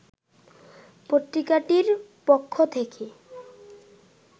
পত্রিকাটির পক্ষ থেকে